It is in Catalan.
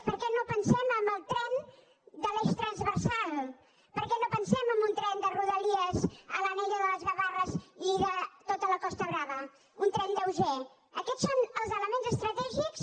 per què no pensem en el tren de l’eix transversal per què no pensem en un tren de rodalies a l’anella de les gavarres i de tota la costa brava un tren lleuger aquests són els elements estratègics